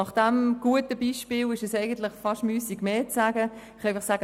Nach diesem guten Beispiel ist es fast müssig, mehr zu sagen.